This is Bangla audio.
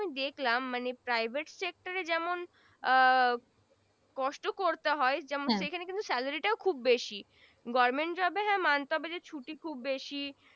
দেখলাম মানে Private sector এ যেমন আহ কষ্ট করতে হয় যেমন সেখানে কিন্তু salary সেটাও খুব বেশি government job এর Job এর হ্যা মানতে হবে যে খুব ছুটি বেশি